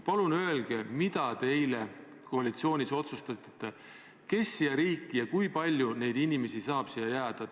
Palun öelge, mida te eile koalitsioonis otsustasite: kes siia riiki saavad jääda ja kui palju neid inimesi on?